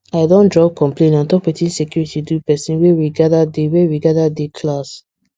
i don drop complain on top wetin security do person wey we gather dey we gather dey class